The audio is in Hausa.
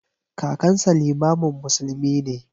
Kakansa limamin musulmi ne.